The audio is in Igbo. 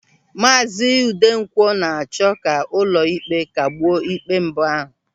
Maazi Udenkwọ na-achọ ka ụlọịkpe kagbuo ikpe mbụ ahụ.